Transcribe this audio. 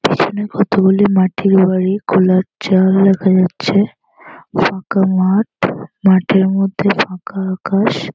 এখানে কতগুলি মাটির বাড়ি খোলা চাল দেখা যাচ্ছে। ফাঁকা মাঠ। মাঠের মধ্যে ফাঁকা আকাশ।